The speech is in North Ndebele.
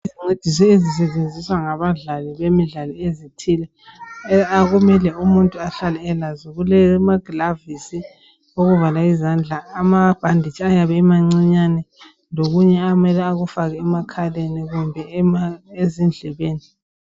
Izinto ezisetshenziswa ngabadlali bemidlalo ezithile okumele umuntu ahlale elazo kulamagilavisi, okuvala izandla amabhanditshi ayabe emancinyane lokunye amele akufake emakhaleni kumbe ezindlebeni.